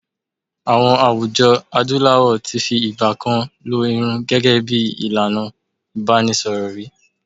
IÀwọn àwùjọ Adúláwọ̀ ti fi ìgbà kan lo irun gẹhgẹ́ bí ìlànà ìbánisọ̀rọ̀ rí.